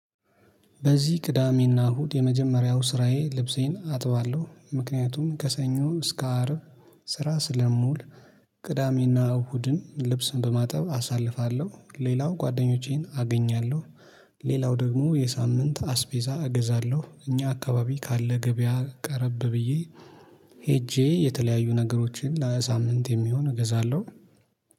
በዚህ ቅዳሜና እሁድ የመጀመሪያው ስራዬ ልብሴን አጥባለሁ ምክንያቱም ከሰኞ እስከ አርብ ስራ ስለምውል ቅዳሜና እሁድን ልብስን በማጠብ አሳልፋለሁ። ሌላው ጓደኞቼን አገኛለሁ። ሌላው ደግሞ የሳምንት አስቤዛ እገዛለሁ እኛ አከባቢ ካለ ገበያ ቀረብ ብዬ ሄጄ የተለያዩ ነገሮችን ለሳምንት የሚሆን እገዛለሁ